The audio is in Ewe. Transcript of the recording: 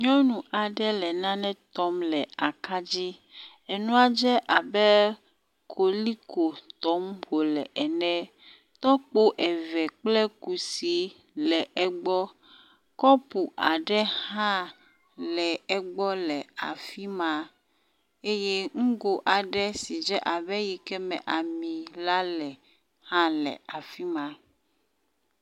Nyɔnu aɖe le nane tɔm le aka dzi. Enua dze abe koliko tɔm wole ene. Tɔkpo eve kple kusi le egbɔ. Kɔpu aɖe hã le egbɔ le afi ma eye ŋgo aɖe si dze abe eyi ke me ami la le hã le afi ma.